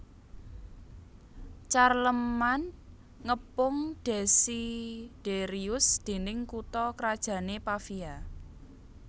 Charlemagne ngepung Desiderius dining kutha krajané Pavia